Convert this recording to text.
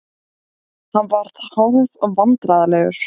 Hann varð hálfvandræðalegur.